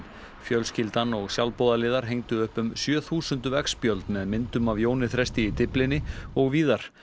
fjölskyldan og sjálfboðaliðar hengdu upp um sjö þúsund veggspjöld með myndum af Jóni Þresti í Dyflinni og víðar